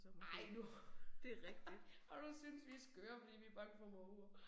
Ej nu. Og du synes vi skøre fordi vi bange for måger